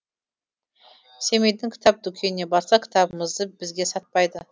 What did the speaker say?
семейдің кітап дүкеніне барсақ кітабымызды бізге сатпайды